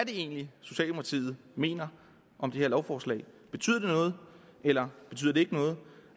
egentlig socialdemokratiet mener om det her lovforslag betyder det noget eller betyder det ikke noget